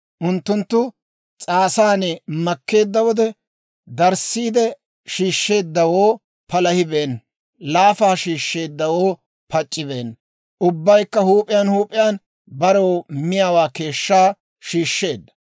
Unttunttu s'aasan makkeedda wode, darissiide shiishsheeddawoo palahibeenna; laafa shiishsheeddawoo pac'c'ibeenna; ubbaykka huup'iyaan huup'iyaan barew miyaawaa keeshshaa shiishsheedda.